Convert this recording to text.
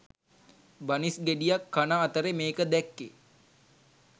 බනිස් ගෙඩියක් කන අතරෙ මේක දැක්කෙ